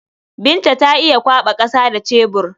Binta za ta iya kwaɓa ƙasa da cebur.